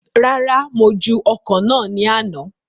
Rárá, mo ju ọ̀kọ̀ náà ní àna